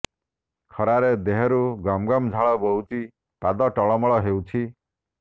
ଖରାରେ ଦେହରୁ ଗମଗମ ଝାଳ ବୋହୁଛି ପାଦ ଟଳ ମଳ ହେଉଛି